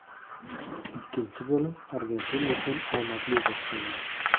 Ikkinchi bo‘lim Argentina uchun omadli boshlandi.